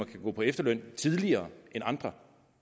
kan gå på efterløn tidligere end andre